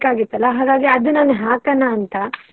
ಬೇಕಾಗಿತ್ತಲ್ಲ ಅದು ನಾನು ಹಾಕೋಣ ಅಂತ.